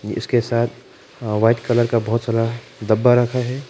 इसके साथ white colour का बहोत सारा डब्बा रखा है।